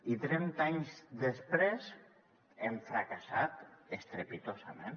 i trenta anys després hem fracassat estrepitosament